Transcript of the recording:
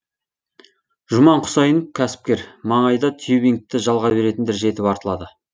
жұман құсайынов кәсіпкер маңайда тюбингті жалға беретіндер жетіп артылады